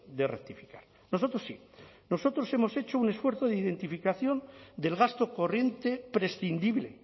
de rectificar nosotros sí nosotros hemos hecho un esfuerzo de identificación del gasto corriente prescindible